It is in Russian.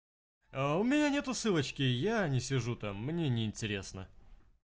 а у меня нет ссылочки я не сижу там мне не интересно